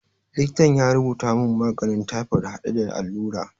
Likitan ya rubuta mun maganin taifod hade da allura